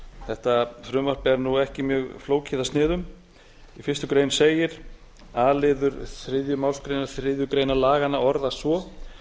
þetta frumvarp er ekki mjög flókið að sniðum í fyrstu grein segir a liður þriðju málsgrein þriðju grein laganna orðast svo